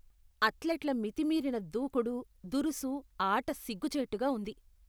అథ్లెట్ల మితిమీరిన దూకుడు, దురుసు ఆట సిగ్గుచేటుగా ఉంది.